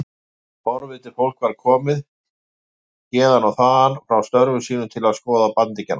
Forvitið fólk var komið héðan og þaðan frá störfum sínum til þess að skoða bandingjana.